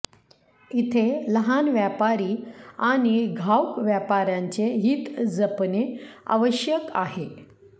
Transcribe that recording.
इथे लहान व्यापारी आणि घाऊक व्यापाऱ्यांचे हीत जपणे आवश्यक आहे